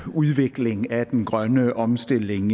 udvikling af den grønne omstilling